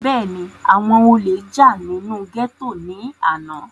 bẹ́ẹ̀ni, àwọn olè jà nínú gẹ́tò ní àná